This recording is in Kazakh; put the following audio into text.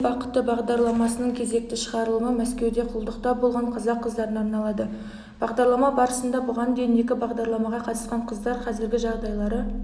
әйел бақыты бағдарламасының кезекті шығарылымы мәскеуде құлдықта болған қазақ қыздарына арналды бағдарлама барысында бұған дейін екі бағдарламаға қатысқан қыздар қазіргі жағдайлары